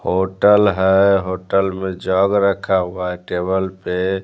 Hotel है hotel में jug रखा हुआ है टेबल पे।